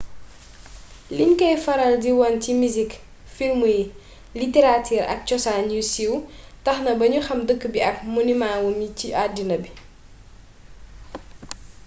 liñ koy faral di wone ci misik filmu yi literaatir ak cosaan yu siiw tax na bañu xàm dëkk bi ak ay monimaa wam ci addina bi